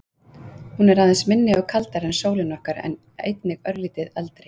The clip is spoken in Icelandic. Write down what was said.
Hún er aðeins minni og kaldari en sólin okkar en einnig örlítið eldri.